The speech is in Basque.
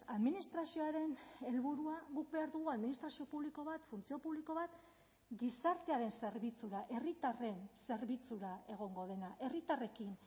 administrazioaren helburua guk behar dugu administrazio publiko bat funtzio publiko bat gizartearen zerbitzura herritarren zerbitzura egongo dena herritarrekin